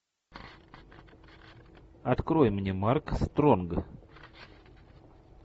открой мне марк стронг